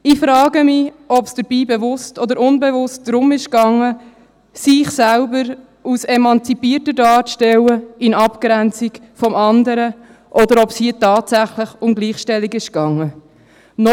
Ich frage mich, ob es dabei bewusst oder unbewusst darum gegangen ist, sich selber als emanzipierter darzustellen in Abgrenzung vom Anderen, oder ob es hier tatsächlich um Gleichstellung gegangen ist.